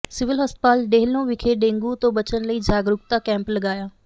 civil ਹਸਪਤਾਲ ਡੇੇਹਲੋਂ ਵਿਖੇ dengue ਤੋਂ ਬਚਣ ਲਈ ਜਾਗਰੂਕਤਾ ਕੈਂਪ ਲਗਾਇਆ